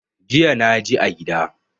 Jiya naji a gida.